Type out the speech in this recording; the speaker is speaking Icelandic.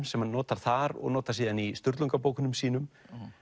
sem hann notar þar og notar síðan í Sturlungabókunum sínum